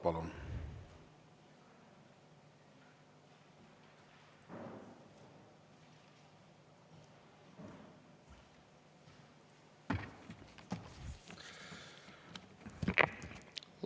Palun!